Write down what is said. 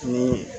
Ni